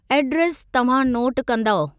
Address तव्हां note कंदउ।